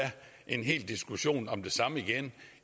en hel diskussion om det samme igen